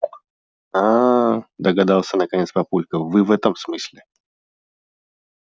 аа догадался наконец папулька вы в этом смысле